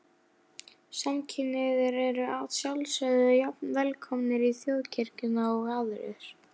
Samkynhneigðir eru að sjálfsögðu jafn velkomnir í Þjóðkirkjuna og aðrir.